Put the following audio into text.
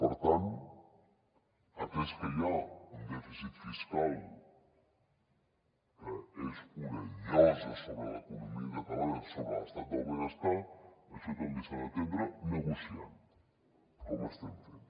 per tant atès que hi ha un dèficit fiscal que és una llosa sobre l’economia catalana sobre l’estat del benestar això també s’ha d’atendre negociant com ho estem fent